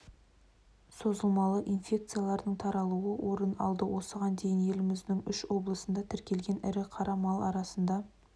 созылмалы инфекциялардың таралуы орын алды осыған дейін еліміздің үш облысында тіркелген ірі қара мал арасында